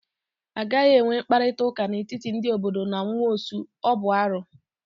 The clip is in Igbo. A gaghị enwe mkparịta ụka n'etiti ndị obodo na nwaosu, ọ bụ arụ.